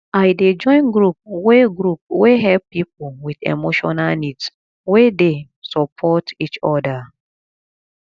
i dey join group wey group wey help people with emotional needs we dey support each other